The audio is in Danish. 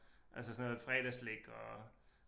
Altså sådan noget fredagsslik og